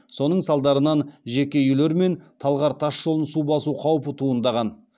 соның салдарынан жеке үйлер мен талғар тас жолын су басу қаупі туындаған